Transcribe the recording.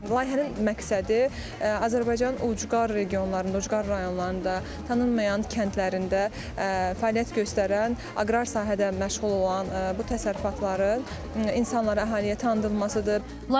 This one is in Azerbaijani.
Layihənin məqsədi Azərbaycanın ucqar regionlarında, ucqar rayonlarında, tanınmayan kəndlərində fəaliyyət göstərən, aqrar sahədə məşğul olan bu təsərrüfatların insanlara fəaliyyəti tanıdılmasıdır.